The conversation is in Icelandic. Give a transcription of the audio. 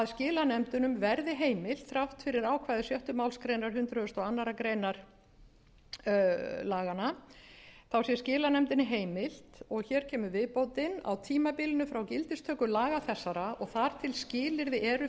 skilanefndunum verði heimilt þrátt fyrir ákvæði sjöttu málsgrein hundrað og aðra grein laganna sé skilanefndinni heimila og hér kemur viðbótin á tímabilinu frá gildistöku laga þessara og þar til skilyrði eru